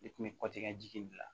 Ne kun bɛ kɔti ka jigin